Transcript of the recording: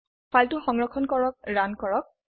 ফাইলটি সংৰক্ষণ কৰক ৰান কৰক